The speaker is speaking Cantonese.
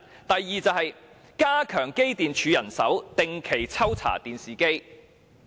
第二，增加機電工程署的人手，定期抽查電視機。